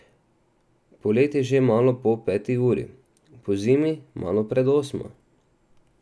Poleti že malo po peti uri, pozimi malo pred osmo.